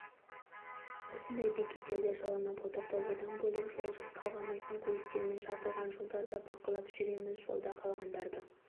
осындай бекеттерде жылынып отырды одан бөлек жол талғамайтын көліктермен жабылған жолдарды бақылап жүреміз жолда қалғандарды